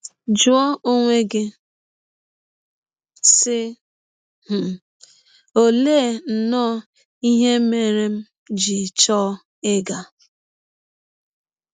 Jụọ onwe gị, sị um: ‘ Ọlee nnọọ ihe mere m ji chọọ ịga?